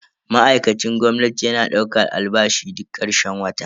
Ma'aikacin gwamnati yana daukan albashi duk karshen wata.